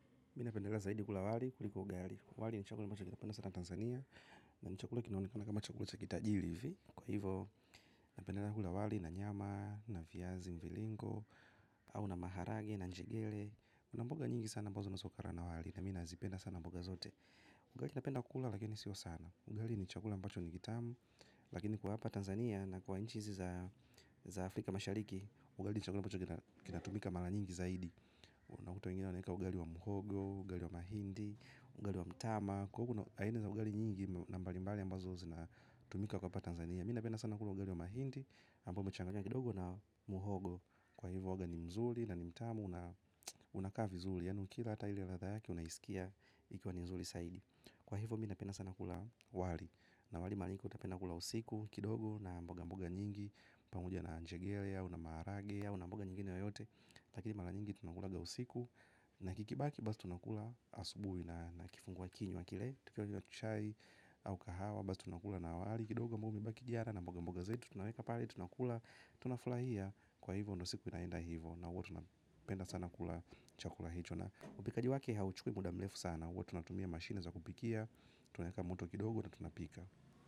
Mina pendelea zaidi kula wali kuliko ugali. Wali ni chakula ambacho kinapendwa sana Tanzania. Na ni chakula kinaonekana kama chakula cha kitajiri hivi. Kwa hivo, napendelea kula wali na nyama, na viazi, mringo, au na maharage, na njegele. Kuna mboga nyingi sana ambazo unaweza ukala na wali. Na mi nazipenda sana mboga zote. Ugali napenda kula lakini sio sana. Ugali ni chakula ambacho ni kitamu. Lakini kwa hapa Tanzania na kwa nchi hizi za Afrika mashariki, ugali ni chakula ambacho kinatumika mara nyingi zaidi. Unakuta wengine wanaeka ugali wa mhogo, ugali wa mahindi, ugali wa mtama, kwa hiyo kuna aina ya ugali nyingi na mbalimbali ambazo zinatumika hapa Tanzania. Mi napenda sana kula ugali wa mahindi ambao umechanganywa kidogo na mhogo. Kwa hivyo huwaga ni mzuri, na ni mtamu na unakaa vizuri. Yaani ukila hata ile ladha yake unaiskia ikiwa ni nzuri zaidi. Kwa hivyo mi napenda sana kula wali. Na wali mara nyingi utapata nakula usiku kidogo na mboga mboga nyingi. Pamoja na njegele, au na maharage, au na mboga nyingine yoyote. Lakini mara nyingi tunakulaga usiku. Na kikibaki basi tunakula asubuhi. Na kifungua kinywa kile tukianywa chai au kahawa basi tunakula na wali. Kidogo ambao umebaki jana na mboga mboga zetu. Tunaweka pale tunakula. Tunafurahia kwa hivyo ndo siku inaenda hivyo. Na huwa tunapenda sana kula chakula hicho. Na upikaji wake hauchukui muda mrefu sana huwa tunatumia mashine za kupikia. Tunaweka moto kidogo na tunapika.